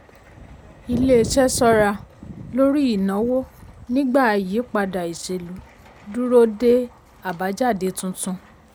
iléeṣẹ́ ṣọ́ra lórí ìnáwó nígbà ìyípadà ìṣèlú dúró de àbájáde tuntun.